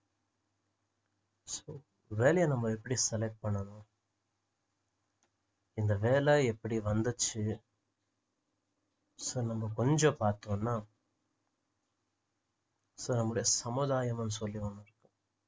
so வேலையை நம்ம எப்படி select பண்ணணும் இந்த வேலை எப்படி வந்துச்சு so நம்ம கொஞ்சம் பார்த்தோம்னா so நம்மோட சமுதாயன்னு சொல்லுவாங்க